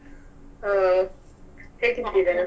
ಆಹ್ ಹೇಗಿದ್ದೀರಾ?